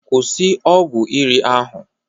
Kwụsị ọgwụ iri ahụ!